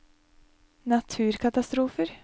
naturkatastrofer